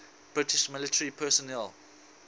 british military personnel